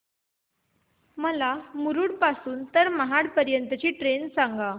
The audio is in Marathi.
मला मुरुड पासून तर महाड पर्यंत ची ट्रेन सांगा